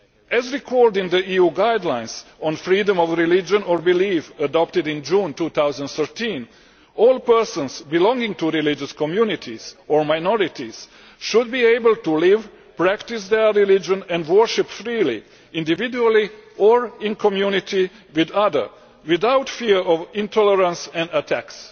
As recalled in the EU guidelines on freedom of religion or belief adopted in June 2013, all persons belonging to religious communities or minorities should be able to live, practise their religion and worship freely, individually or in community with others, without fear of intolerance and attacks.